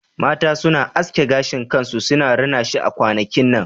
Mata suna aske gashin kansu suna rina shi a kwanakin nan